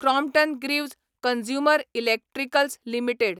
Crompton Greaves consumer electricals limited